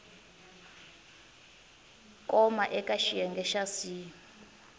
koma eka xiyenge xa c